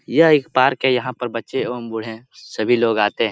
यह एक पार्क है यहाँ पर बच्चे एवं बूढ़े सभी लोग आते हैं ।